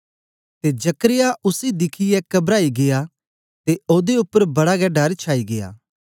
ते जकर्याह उसी दिखियै कबराई गीया ते ओदे उपर बड़ा गै डर छाई गीया